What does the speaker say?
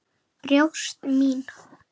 Brjóst mín.